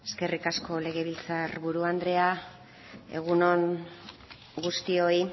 eskerrik asko legebiltzar buru andrea egun on guztioi